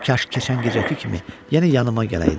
Kaş keçən gecəki kimi yenə yanıma gələydi.